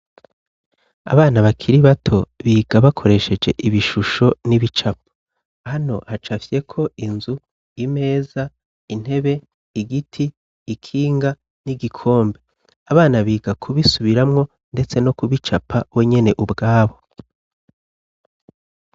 Abana bakiri bato biga bakoresheje ibishusho n'ibicapa hano hacafyeko inzu imeza intebe igiti ikinga n'igikombe abana biga kubisubiramwo, ndetse no kubicapa we nyene ubwabo.